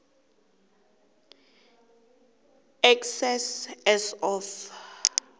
excess as of